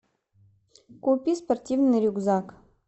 купи спортивный рюкзак